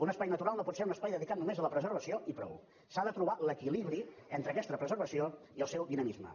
un espai natural no pot ser només un espai dedicat a la preservació i prou s’ha de trobar l’equilibri entre aquesta preservació i el seu dinamisme